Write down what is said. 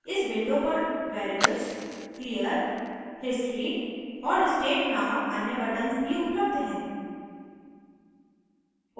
इस window पर variables clear history और state नामक अन्य buttons भी उपलब्ध हैं